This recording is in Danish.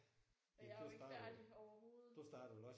Og jeg er jo ikke færdig overhovedet